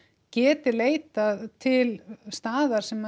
geti leitað til staðar sem